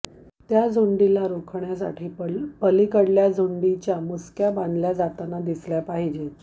त्या झुंडीला रोखण्य़ासाठी पलिकडल्या झुंडीच्या मुसक्या बांधल्या जाताना दिसल्या पाहिजेत